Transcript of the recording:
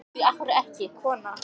hvað heitir þú